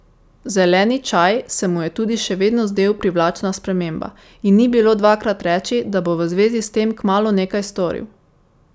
Zeleni čaj se mu je tudi še vedno zdel privlačna sprememba, in ni bilo dvakrat reči, da bo v zvezi s tem kmalu nekaj storil.